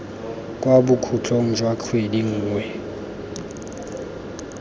kwa bokhutlong jwa kgwedi nngwe